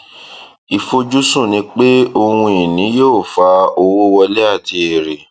ìfojúsùn ni pé ohun ìní yóò fa owó wọlé àti èrè